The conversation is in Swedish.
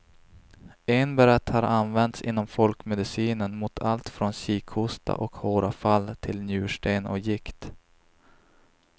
Enbäret har använts inom folkmedicinen mot allt från kikhosta och håravfall till njursten och gikt.